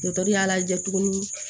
Dɔkitɛri y'a lajɛ tuguni